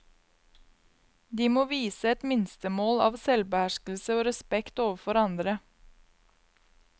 De må vise et minstemål av selvbeherskelse og respekt overfor andre.